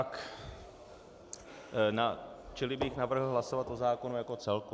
Čili bych navrhl hlasovat o zákonu jako celku.